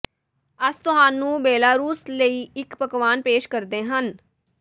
ਅਸ ਤੁਹਾਨੂੰ ਬੇਲਾਰੂਸ ਲਈ ਇੱਕ ਪਕਵਾਨ ਪੇਸ਼ ਕਰਦੇ ਹਨ